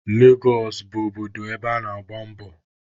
Legos bụ obodo ebe ana-agba mbọ.